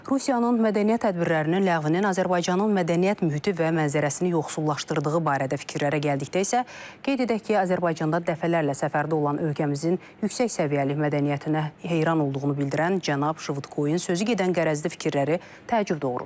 Rusiyanın mədəniyyət tədbirlərinin ləğvinin Azərbaycanın mədəniyyət mühiti və mənzərəsini yoxsullaşdırdığı barədə fikirlərə gəldikdə isə, qeyd edək ki, Azərbaycanda dəfələrlə səfərdə olan ölkəmizin yüksək səviyyəli mədəniyyətinə heyran olduğunu bildirən cənab Şvıdkoyun sözügedən qərəzli fikirləri təəccüb doğurur.